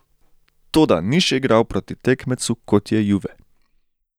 Toda ni še igral proti tekmecu, kot je Juve.